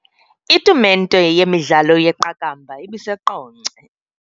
Itumente yemidlalo yeqakamba ibiseQonce.